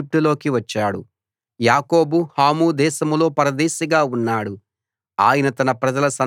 ఇశ్రాయేలు ఈజిప్టులోకి వచ్చాడు యాకోబు హాము దేశంలో పరదేశిగా ఉన్నాడు